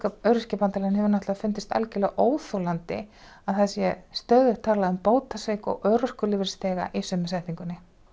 Öryrkjabandalaginu hefur fundist óþolandi að það sé stöðugt talað um bótasvik og örorkulífeyrisþega í sömu setningu